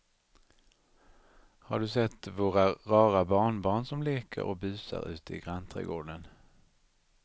Har du sett våra rara barnbarn som leker och busar ute i grannträdgården!